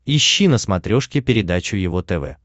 ищи на смотрешке передачу его тв